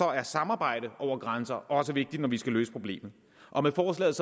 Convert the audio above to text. er samarbejde over grænser også vigtigt når vi skal løse problemet og med forslaget